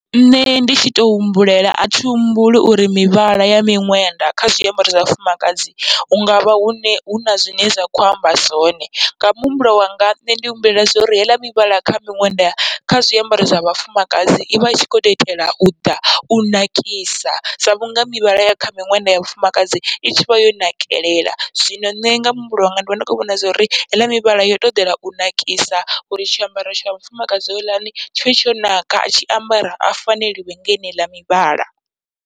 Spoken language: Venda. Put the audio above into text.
Nṋe ndi tshi to humbulela athi humbuli uri mivhala ya miṅwenda kha zwiambaro zwa vhafumakadzi, hungavha hune huna zwine zwa kho amba zwone nga muhumbulo wanga nṋe ndi humbulela zwauri heiḽa mivhala kha miṅwenda kha zwiambaro zwa vhafumakadzi ivha itshi kho to itela uḓa u nakisa, sa vhunga mivhala ya kha miṅwenda ya vhafumakadzi i tshivha yo nakelela. Zwino nṋe nga muhumbulo wanga ndi vha ndi khou vhona zwauri heiḽa mivhala yo to ḓela u nakisa uri tshiambaro tsha mufumakadzi houḽani tshivhe tsho naka, atshi ambara a faneliwe ngeneiḽa mivhala.